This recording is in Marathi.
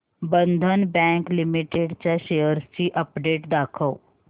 बंधन बँक लिमिटेड च्या शेअर्स ची अपडेट दाखव